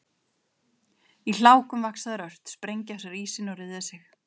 Í hlákum vaxa þær ört, sprengja af sér ísinn og ryðja sig.